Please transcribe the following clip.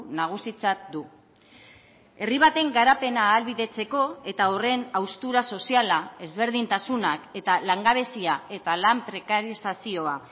nagusitzat du herri baten garapena ahalbidetzeko eta horren haustura soziala ezberdintasunak eta langabezia eta lan prekarizazioa